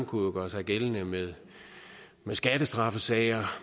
kunne gøre sig gældende med skattestraffesager